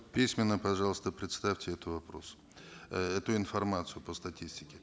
письменно пожалуйста представьте этот вопрос эту информацию по статистике